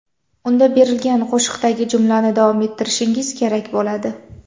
Unda berilgan qo‘shiqdagi jumlani davom ettirishingiz kerak bo‘ladi.